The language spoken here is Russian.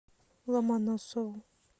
ломоносову